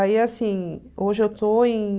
Aí, assim, hoje eu estou em...